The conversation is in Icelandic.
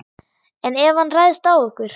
En ef hann ræðst á okkur?